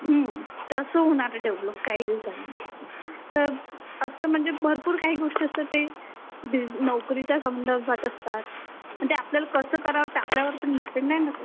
ह्ममम, तसं होणार आहे डेव्हलप काही दिवसांनी तर असं म्हणजे भरपूर काही गोष्टी असतात ते नोकरीच्या संदर्भात असतात पण ते कसं करावं ते आपल्यावर पण डिपेंड आहे ना ते